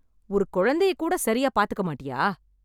ஒரு குழந்தையை கூட சரியா பாத்துக்க மாட்டியா?